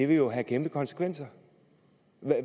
det jo have kæmpe konsekvenser